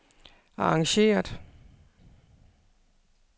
arrangeret